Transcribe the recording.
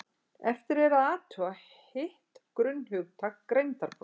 eftir er að athuga hitt grunnhugtak greindarprófa